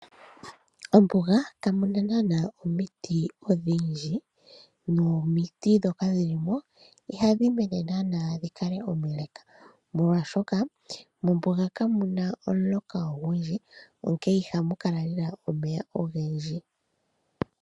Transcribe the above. Ombuga kamuna naana omiti odhindji nomiti dhoka dhili mo ihadhi mene dhininge omile molwaashoka mombuga kamuna omuloka gwagwana onkee ihamu kala omeya ogendji.